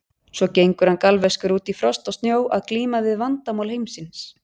Svo gengur hann galvaskur út í frost og snjó að glíma við Vandamál Heimsins.